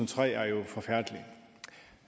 tre er jo forfærdelig